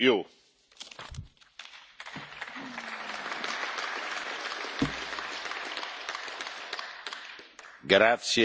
L'accoglienza che ha ricevuto da questo Parlamento, gli applausi che ha raccolto dimostrano l'apprezzamento per il lavoro